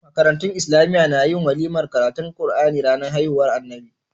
Makarantun islamiya na yin walimar karatun qur'ani ranar haihuwar annabi SAW